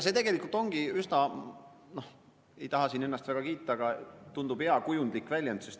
Ei taha siin ennast väga kiita, aga see tundub iseenesest hea kujundlik väljend.